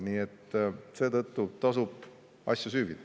Nii et seetõttu tasub asja süüvida.